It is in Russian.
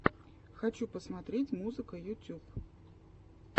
хочу посмотреть музыка ютюб